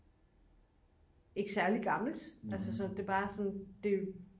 ikke særlig gammelt altså så det bare sådan